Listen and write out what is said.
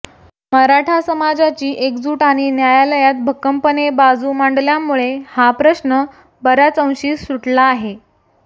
मराठा समाजाची एकजूट आणि न्यायालयात भक्कमपणे बाजू मांडल्यामुळे हा प्रश्न बऱ्याच अशी सुटला आहे